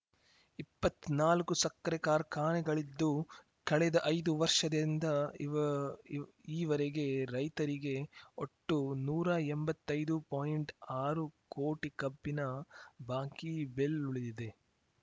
ಇಪ್ಪತ್ನಾಲ್ಕು ಸಕ್ಕರೆ ಕಾರ್ಖಾನೆಗಳಿದ್ದು ಕಳೆದ ಐದು ವರ್ಷದಿಂದ ಇವ ಈವರೆಗೆ ರೈತರಿಗೆ ಒಟ್ಟು ನೂರಾ ಎಂಬತೈದು ಪಾಯಿಂಟ್ಆರು ಕೋಟಿ ಕಬ್ಬಿನ ಬಾಕಿ ಬಿಲ್‌ ಉಳಿದಿದೆ